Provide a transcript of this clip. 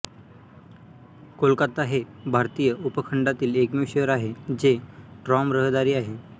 कोलकाता हे भारतीय उपखंडातील एकमेव शहर आहे जे ट्राम रहदारी आहे